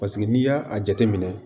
Paseke n'i y'a jateminɛ